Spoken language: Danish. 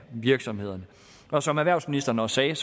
virksomhederne og som erhvervsministeren også sagde er